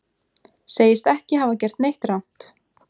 Segist ekki hafa gert neitt rangt